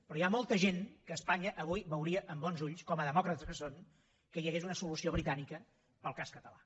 però hi ha molta gent que a espanya avui veuria amb bons ulls com a demòcrates que són que hi hagués una solució britànica per al cas català